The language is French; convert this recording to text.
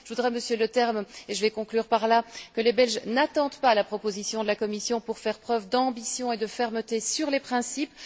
Je voudrais dire, Monsieur Leterme, et je conclurai par cela, que les Belges n'attendent pas la proposition de la Commission pour faire preuve d'ambition et de fermeté sur les principes.